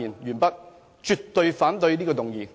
我絕對反對這項議案。